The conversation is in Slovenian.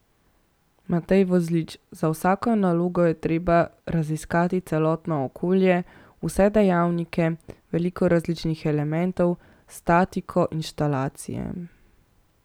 Matej Vozlič: "Za vsako nalogo je treba raziskati celotno okolje, vse dejavnike, veliko različnih elementov, statiko, inštalacije...